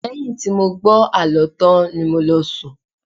Lẹ́yìn tí mo gbọ́ àlọ́ tán ni mo lọ sùn